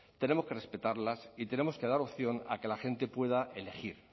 tenemos que respetarlas y tenemos que dar opción a que la gente pueda elegir